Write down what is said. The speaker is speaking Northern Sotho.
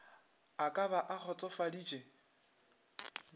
e ka ba a kgotsofaditše